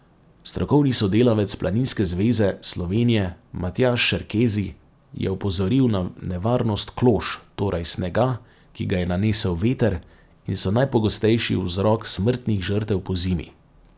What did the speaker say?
Strokovni sodelavec Planinske zveze Slovenije Matjaž Šerkezi je opozoril na nevarnost klož, torej snega, ki ga je nanesel veter, in so najpogostejši vzrok smrtnih žrtev pozimi.